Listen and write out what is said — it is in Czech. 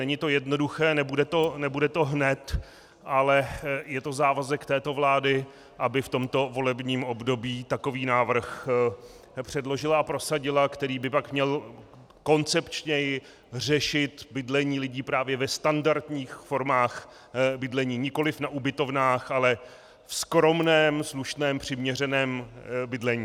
Není to jednoduché, nebude to hned, ale je to závazek této vlády, aby v tomto volebním období takový návrh předložila a prosadila, který by pak měl koncepčněji řešit bydlení lidí právě ve standardních formách bydlení, nikoliv na ubytovnách, ale ve skromném, slušném, přiměřeném bydlení.